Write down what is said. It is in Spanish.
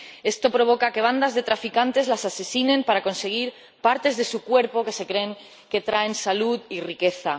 Esto provoca que bandas de traficantes los asesinen para conseguir partes de su cuerpo que se creen que traen salud y riqueza.